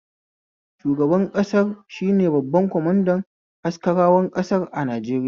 Shugaban ƙasar shine babban kwamanda askarawan ƙasar a Najeriya